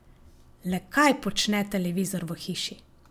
Le kaj počne televizor v hiši?